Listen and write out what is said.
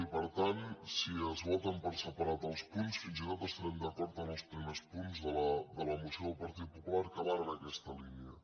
i per tant si es voten per separat els punts fins i tot estarem d’acord amb els primers punts de la moció del partit popular que van en aquesta línia